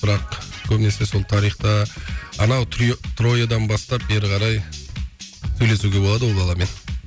бірақ көбінесе сол тарихта анау трио троядан бастап бері қарай сөйлесуге болады ол баламен